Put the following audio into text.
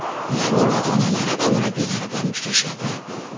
ularning ota-onalari va murabbiylari bilan uchrashadi.